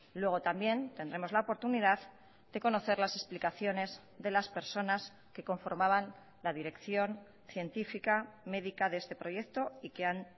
luego también tendremos la oportunidad de conocer las explicaciones de las personas que conformaban la dirección científica médica de este proyecto y que han